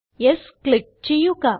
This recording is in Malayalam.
യെസ് ക്ലിക്ക് ചെയ്യുക